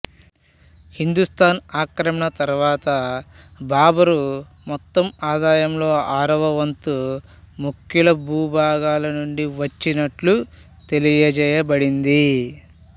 హిందుస్తాను ఆక్రమణ తరువాత బాబరు మొత్తం ఆదాయంలో ఆరవ వంతు ముఖ్యుల భూభాగాల నుండి వచ్చినట్లు తెలియజేయబడింది